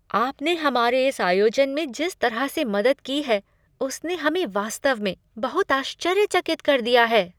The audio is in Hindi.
आपने हमारे इस आयोजन में जिस तरह से मदद की है उसने हमें वास्तव में बहुत आश्चर्यचकित कर दिया है।